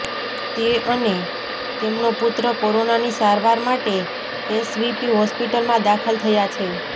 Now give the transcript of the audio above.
તે અને તેમનો પુત્ર કોરોનાની સારવાર માટે એસવીપી હોસ્પિટલમાં દાખલ થયા છે